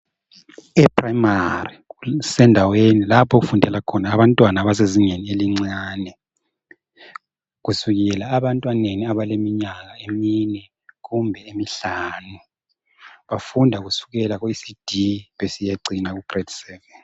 Eprimary kusendaweni lapho okufundela khona abantwana abasezingeni elincane kusukela ebantwaneni abaleminyaka emine kumbe emihlanu bafunda kusukela kuECD besiyacina kugrade 7.